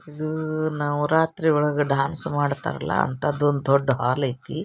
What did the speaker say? ಇದ್ ನವರಾತ್ರಿ ಒಳಗ ಡ್ಯಾನ್ಸ್ ಮಾಡ್ತಾರಲ್ಲ ಅಂತದ್ದ್ ಒಂದು ಹಾಲ್ ಐತ್ರಿ.